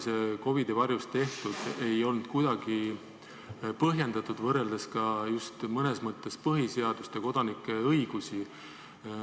See COVID-i varjus tehtu ei olnud kuidagi põhjendatud, võrreldes mõnes mõttes ka põhiseadust ja kodanike õigusi.